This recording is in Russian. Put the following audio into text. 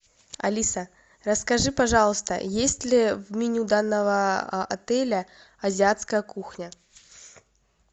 алиса расскажи пожалуйста есть ли в меню данного отеля азиатская кухня